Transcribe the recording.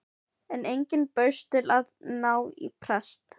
En enginn bauðst til að ná í prest.